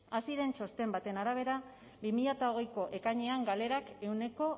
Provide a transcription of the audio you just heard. haziren txosten baten arabera bi mila hogeiko ekainean galerak ehuneko